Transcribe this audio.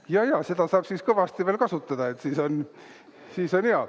Jajaa, seda saab siis kõvasti veel kasutada, siis on hea.